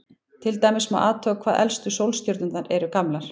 Til dæmis má athuga hvað elstu sólstjörnur eru gamlar.